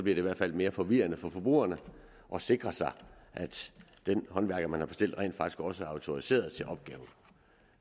i hvert fald mere forvirrende for forbrugerne at sikre sig at den håndværker man har bestilt rent faktisk også er autoriseret til opgaven